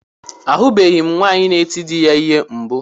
Ahụbeghi m nwaanyị na-eti dị ya ihe mbụ.